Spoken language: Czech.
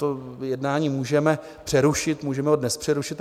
To jednání můžeme přerušit, můžeme ho dnes přerušit.